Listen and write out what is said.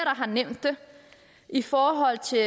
har nævnt det i forhold til